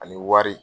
Ani wari